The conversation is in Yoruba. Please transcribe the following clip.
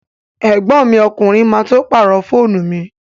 Ẹ̀gbọ́n mi ọkùnrin má tó pàrọ̀ fóònù mi